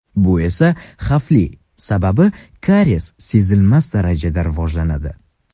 Bu esa xavfli, sababi kariyes sezilmas darajada rivojlanadi.